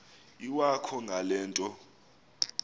iwakho ngale nto